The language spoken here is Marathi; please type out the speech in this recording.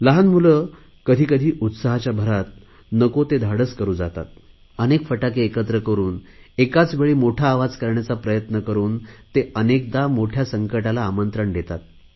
लहान मुले मात्र कधीकधी उत्साहाच्या भरात नको ते धाडस करुन जातात अनेक फटाके एकत्र करुन एकाच वेळी मोठा आवाज करण्याचा प्रयत्न करुन ते अनेकदा मोठया संकटाला आमंत्रण देतात